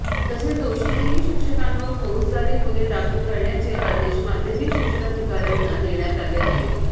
तसेच दोषी तीन शिक्षकांवर फौजदारी गुन्हे दाखल करण्याचे आदेश माध्यमिक शिक्षणाधिकाऱ्यांना देण्यात आले आहेत